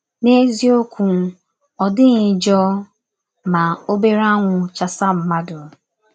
N’eziọkwụ, ọ dịghị njọ ma ọbere anwụ chasa mmadụ.